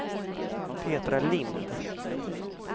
Petra Lindh